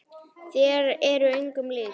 Þér eruð engum lík!